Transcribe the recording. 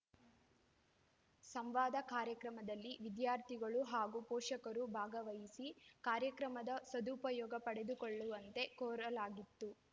ಸಂವಾದ ಕಾರ್ಯಕ್ರಮದಲ್ಲಿ ವಿದ್ಯಾರ್ಥಿಗಳು ಹಾಗೂ ಪೋಷಕರು ಭಾಗವಹಿಸಿ ಕಾರ್ಯಕ್ರಮದ ಸದುಪಯೋಗ ಪಡೆದುಕೊಳ್ಳುವಂತೆ ಕೋರಲಾಗಿತೆ